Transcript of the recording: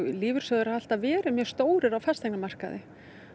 lífeyrissjóðir hafa alltaf verið mjög stórir á fasteignamarkaði